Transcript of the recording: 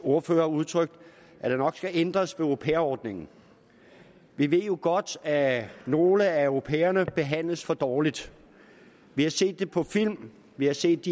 ordførere udtrykt at der nok skal ændres ved au pair ordningen vi ved jo godt at nogle af au pairerne behandles for dårligt vi har set det på film vi har set